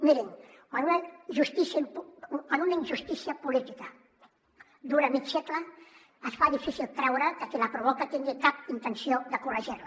mirin quan una injustícia política dura mig segle es fa difícil creure que qui la provoca tingui cap intenció de corregir la